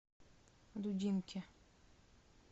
дудинке